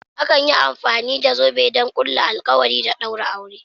Akan yi amfani da zobe don ƙulla alkawari da ɗaura aure.